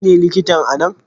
Kai ne likitan a nan?